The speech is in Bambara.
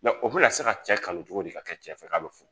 o bɛna na se ka cɛ kanu cogo di ka kɛ cɛ fɛ k'a bɛ furu.